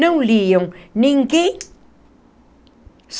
Não liam ninguém.